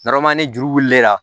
ni juru wulilen la